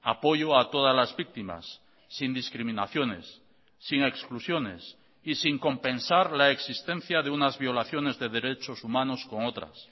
apoyo a todas las víctimas sin discriminaciones sin exclusiones y sin compensar la existencia de unas violaciones de derechos humanos con otras